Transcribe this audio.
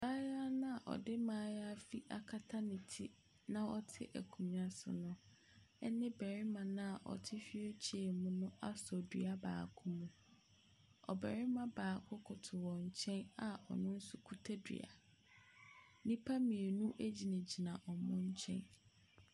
Abayewa no a ɔde mmaayaafi akata ne ti na ɔte akonnwa so no ne ɔbarima no a ɔte wheelchair mu no asɔ dua baako mu. Ɔbarima baako koto wɔn nkyɛn a ɔno nso kuta dua. Nnipa mmienu gyinagyina wɔn nkyɛn.